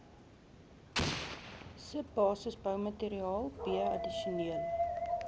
subbasisboumateriaal b addisionele